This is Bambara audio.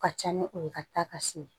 Ka ca ni o ye ka taa ka se